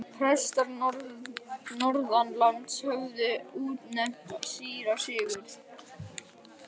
Prestar norðanlands höfðu útnefnt síra Sigurð.